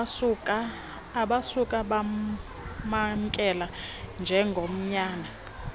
abasuka bamamkela njengonyana